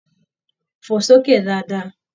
Fo s'oke dáadáa!